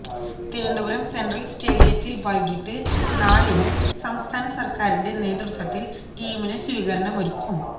Thiruvananthapuram central സ്റ്റേഡിയത്തില് വൈകിട്ട് നാലിന് സംസ്ഥാന സര്ക്കാരിന്റെ നേതൃത്വത്തില് ടീമിന് സ്വീകരണമൊരുക്കും